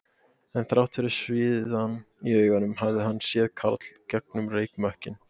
En þrátt fyrir sviðann í augunum hafði hann séð Karl gegnum reykmökkinn